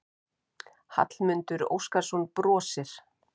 Hallmundur Óskarsson brosir.